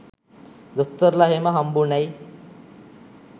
දොස්තරල එහෙම හම්බුනැයි?